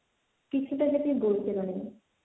কিছুটা যদি বলতে পারেন?